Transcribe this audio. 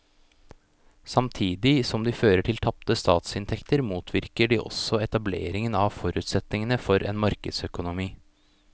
Samtidig som de fører til tapte statsinntekter motvirker de også etablering av forutsetningene for en markedsøkonomi.